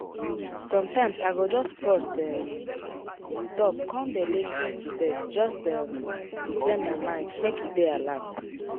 sometimes i go just pause um stop con dey lis ten to birds just um to train my mind make e dey alert.